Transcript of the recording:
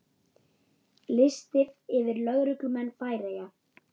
Listi yfir lögmenn Færeyja